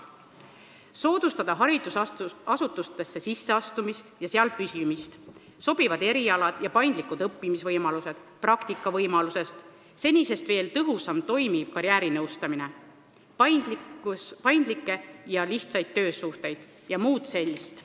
Mõned märksõnad: soodustada haridusasutustesse sisseastumist ja seal püsimist, sobivad erialad ja paindlikud õppimisvõimalused, praktikavõimalused, senisest veel tõhusam toimiv karjäärinõustamine, paindlikud ja lihtsad töösuhted jms.